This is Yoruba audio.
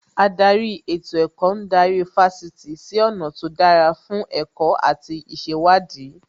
Ádárì ètò ẹ̀kọ́ ń darí Fásitì sí ọ̀nà tó dára fún ẹ̀kọ́ àti ìṣèwádìí